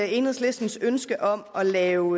enhedslistens ønske om at lave